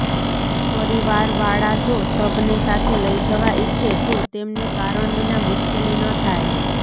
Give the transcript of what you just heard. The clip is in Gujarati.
પરિવારવાળા જો શબને સાથે લઈ જવા ઈચ્છે તો તેમને કારણ વિના મુશ્કેલી ન થાય